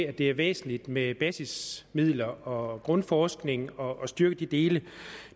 at det er væsentligt med basismidler og grundforskning og at styrke de dele